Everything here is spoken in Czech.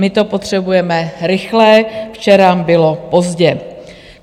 My to potřebujeme rychle, včera bylo pozdě.